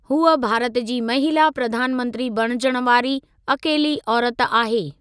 हूअ भारत जी महिला प्रधानमंत्री बणिजण वारी अकेली औरत आहे।